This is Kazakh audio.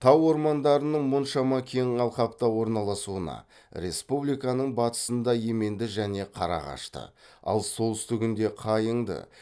тау ормандарының мұншама кең алқапта орналасуына республиканың батысында еменді және қарағашты ал солтүстүігінде қайыңды